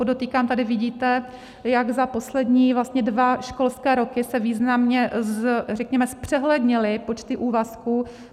Podotýkám, tady vidíte, jak za poslední dva školské roky se významně zpřehlednily počty úvazků.